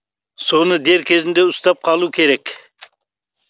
соны дер кезінде ұстап қалу керек